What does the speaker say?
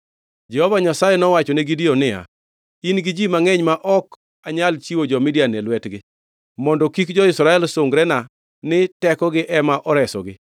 Jehova Nyasaye nowachone Gideon niya, “In-gi ji mangʼeny ma ok anyal chiwo jo-Midian e lwetgi. Mondo kik jo-Israel sungrena ni tekogi ema oresogi,